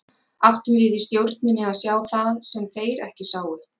Áttum við í stjórninni að sjá það sem þeir ekki sáu?